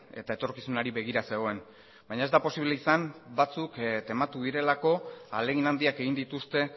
eta etorkizunari begira zegoen baina ez da posible izan batzuk tematu direlako ahalegin handiak egin dituzte